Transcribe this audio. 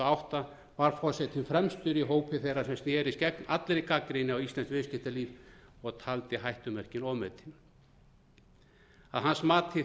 átta var forsetann fremstur í hópi þeirra sem snerist gegn allri gagnrýni á íslenskt viðskiptalíf og taldi hættumerkin ofmetin að hans mati